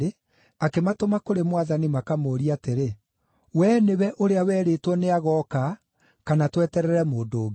akĩmatũma kũrĩ Mwathani makamũũrie atĩrĩ, “Wee nĩwe ũrĩa werĩtwo nĩagooka kana tweterere mũndũ ũngĩ?”